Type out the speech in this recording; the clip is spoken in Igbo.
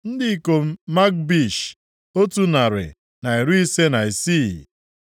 Ndị ikom Magbish, otu narị na iri ise na isii (156).